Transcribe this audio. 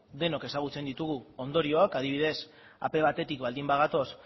denok ezagutzen ditugu ondorioak adibidez ap bat baldin bagatoz